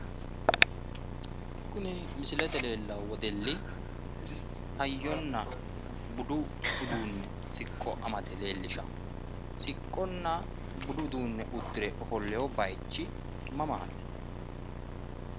kuni misilete leenono wedelli hayyona budu uduune siqqo amade leellishawo siqqonna budu uduunni uddire ofolewo bayiichi mamaati?